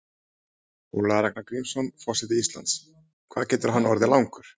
Ólafur Ragnar Grímsson, forseti Íslands: Hvað getur hann orðið langur?